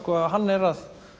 hann er að